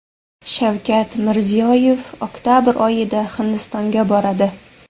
Shavkat Mirziyoyev oktabr oyida Hindistonga boradi.